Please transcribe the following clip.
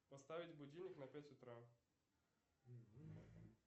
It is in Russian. поставить будильник на пять утра